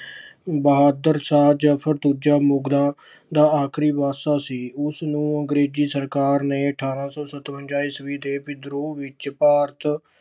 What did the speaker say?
ਬਹਾਦਰ ਸ਼ਾਹ ਜਫਰ ਮੁਗਲਾਂ ਦਾ ਆਖਰੀ ਬਾਦਸ਼ਾਹ ਸੀ। ਉਸ ਨੂੰ ਅੰਗਰੇਜੀ ਸਰਕਾਰ ਨੇ ਅਠਾਰਾਂ ਸੌ ਸਤਵੰਜਾ ਈਸਵੀ ਦੇ ਵਿਦਰੋਹ ਵਿਚ ਭਾਰਤ